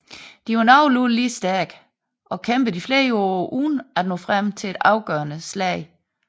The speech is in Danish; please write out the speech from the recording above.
De var nogenlunde lige stærke og kæmpede i flere år uden at nå frem til et afgørende slag